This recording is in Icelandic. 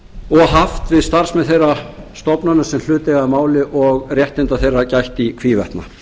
og haft við starfsmenn þeirra stofnana sem hlut eiga að máli og réttinda þeirra gætt í hvívetna